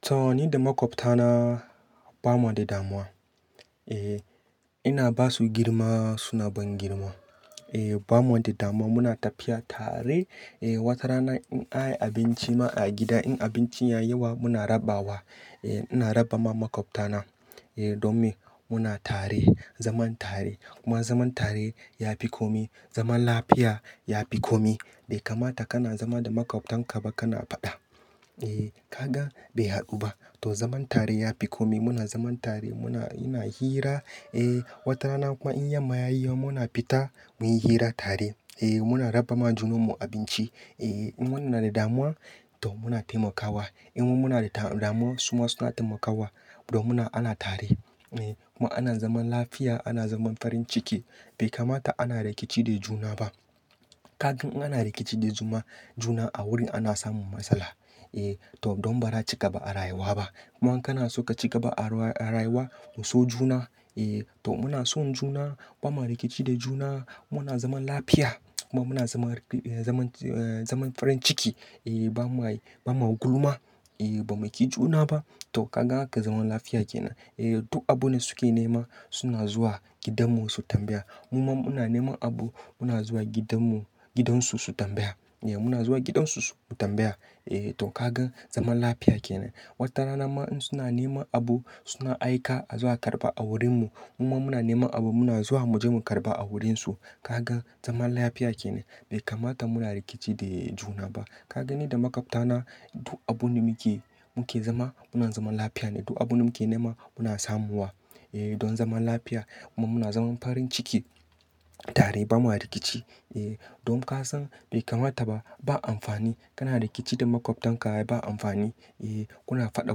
To ni da makwabtana ba ma da damuwa. Ehh ina ba su girma suna ban girma. Eeh ba mu de damuwa muna tafiya tare. Eeh wata rana in a yi abinci ma a gida in abincin ya yi yawa muna raba wa. Eeh ina raba ma makwabtana, eeh domin muna tare. Zaman tare. Kuma zaman tare ya fi kome. Zaman lafiya ya fi kome. Bai kamata kana zama da makwabtan ka ba kana faɗa. Eeh ka ga bai haɗu ba. To zaman tare ya fi kome. Muna zaman tare muna ina hira. Eeh wata rana kuma in ya ma yi ya yo muna fita muyi hira tare. Eeh muna raba ma juna mu abinci. Eeh in wannan na da damuwa toh muna taimakawa. In mu muna da damuwa su ma suna taimakawa. Domin ana tare. Eeh kuma ana zaman lafiya, ana zaman farin ciki bai kamata ana rikici da juna ba. Ka gan in ana rikici da juma juna a wurin ana samun masala. Eeh toh don bara a cigaba a rayuwa ba. Kuma in kana so ka cigaba a rayuwa kuso juna. Eeh toh muna son juna ba ma rikici de juna muna zaman lafiya. Kuma muna zaman, zaman, eh zaman farin ciki. Eeh ba mu ai, ba ma gulma. Eeh ba mu kijuna ba. Toh ka gan haka zaman lafiya kenan. Eeh duk abune suke nema suna zuwa gidanmu su tambaya. Muma muna nema abu muna zuwa gidanmu, gidan su su tambaya. Eeh muna zuwa gidan su su tambaya. Eeh toh ka gan zaman lafiya kenan. Wata rana ma in suna nema abu suna aika a zo a karɓa a wurin mu. Muma muna nema abu muna zuwa mu je mu karɓa a wurin su. Ka gan zaman lafiya kenan. Bai kamata muna rikici da juna ba. Ka gani da makwabtana duk abun da muke, muke zama muna zaman lafiya ne. Duk abun da muke nema muna samu wa. Eeh don zaman lafiya kuma muna zaman farin ciki tare ba mua rikici. Eeh don ka san bai kamata ba. Ba amfani kana rikici da makwabtan ka ba. Bai amfani. Eeh kuna faɗa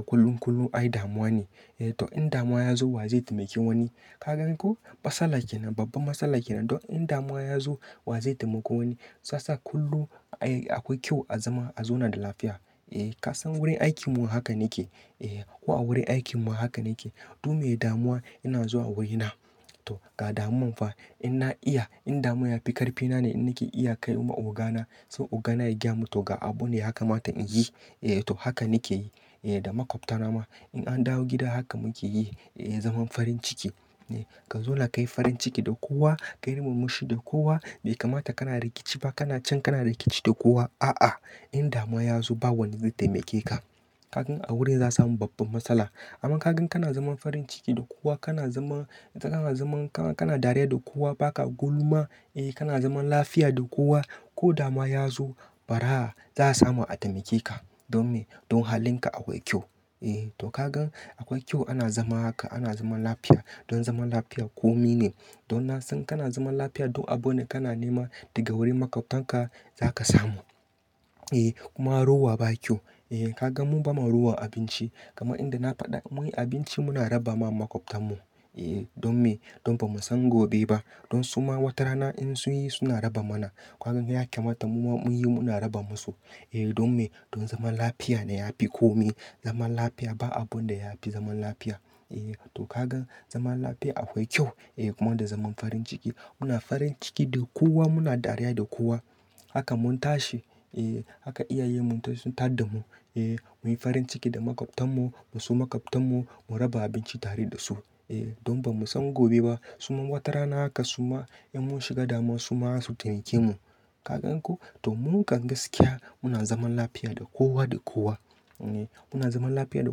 kullum kullum ai damuwa ne. Eeh toh in damuwa ya zo wa zai taimaki wani? Ka gan ko? Matsala kenan. Babban matsala kenan. Don in damuwa ya zo wa zai taimako wani? Sa sa kullum ai akwai kyau a zama a zauna da lafiya. Eeh ka san wurin aikin mu haka nake. Eeh ko a wurin aikin mu haka nake. Dunme damuwa ina zuwa wurina. Toh ga damon fa. In na iya in damuwa ya fi ƙarfi nane in nake iya kai ma ogana. So ogana ya gyamu toh ga abu ne yakamata in yi. Eeh toh haka nake yi. Eeh da makwabtana ma in an dawo gida haka muke yi. Eeh zaman farin ciki. Eeh ka zauna kayi farin ciki da kowa. Kayi murmushi da kowa. Bai kamata kana rikici ba kana can kana rikici da kowa. A'a, in damuwa ya zo ba wani zai taimake ka. Ka gan a wurin za a samu babban matsala. Amma ka gan kana zaman farin ciki da kowa kana zaman, kana zaman, ka kana dariya da kowa ba ka gulma. Eeh kana zaman lafiya da kowa. Ko damuwa ya zo, ba ra za a samu a taimake ka. Domin don halin ka akwai kyau. Eeh toh ka gan akwai kyau ana zama haka. Ana zaman lafiya. Don zaman lafiya kome ne. Don na san kana zaman lafiya duk abune kana nema daga wurin makwabtanka za ka samu. Eeh kuma rowa ba kyau. Eeh ka gan mu ba ma rowa abinci. Kaman inda na faɗa muyi abinci muna raba ma makwabtarnu. Eeh don me? Don ba mu san gobe ba. Don su ma wata rana in sun yi suna raba mana. Ka gan ya kamata muma mun yi muna raba musu. Eeh don me? Don zaman lafiya ne ya fi kome. Zaman lafiya ba abun da ya fi zaman lafiya. Eeh toh ka gan zaman lafiya akwai kyau. Eeh kuma da zaman farin ciki. Muna farin ciki da kowa muna dariya da kowa. Haka mun tashi. Eeh haka iyaye mun tar, sun tar da mu. Eeh muyi farin ciki da makwabtarnu. Mu so makwabtarnu mu raba abinci tare da su. Eeh don ba mu san gobe ba. Su ma wata rana haka su ma in mun shiga damuwa su ma za su taimake mu. Ka gan ko? Toh mun kan gaskiya muna zaman lafiya da kowa da kowa. Eeh muna zaman lafiya da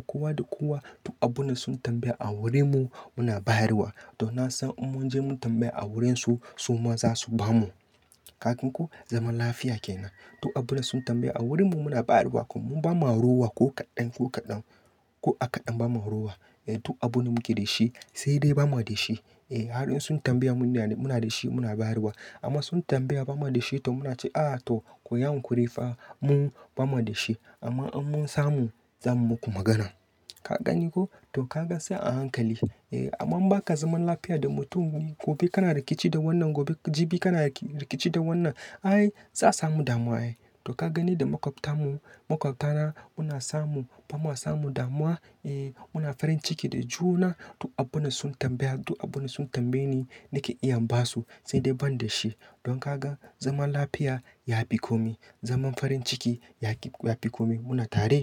kowa da kowa. Duk abune su tambaya a wurin mu muna bayar wa. Toh na san in mun je mu tambaya a wurin su su ma za su bamu. Ka gan ko zaman lafiya kenan? Duk abune su tambaya a wurin mu muna ba ra wa. Ko mun ba ma rowa ko kaɗan, ko kaɗan, ko a kaɗan ba ma rowa. Eeh duk abune muke da shi sai dai ba ma da shi. Eeh har in su tambaya mun, muna da shi muna bayar wa. Amma sun tambaya ba ma da shi toh muna cewa a toh ku yankurifa mu ba ma da shi. Amma in mun samu za mu muku maganan. Ka gani ko? Toh ka ga sai a hankali. Eeh amma in ba ka zaman lafiya da mutum gobe kana rikici da wannan gobe jibi kana rikici da wannan. Ai za a samu damuwa. Ai toh ka gani da makwabtarmu, makwabtana muna samu, ba ma samu damuwa. Eeh muna farin ciki da juna. Duk abune su tambaya, duk abune su tambaye ni nake iya ba su sai dai ban da shi. Don ka gan zaman lafiya ya fi kome. Zaman farin ciki ya fi, ya fi kome. Muna tare.